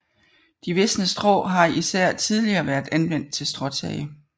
De visne strå har især tidligere været anvendt til stråtage